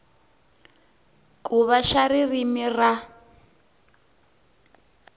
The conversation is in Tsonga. ku va xa ririmi ra